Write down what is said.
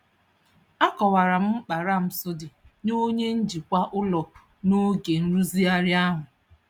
Akọwara m mkpa ramps dị nye onye njikwa ụlọ n'oge nrụzigharị ahụ.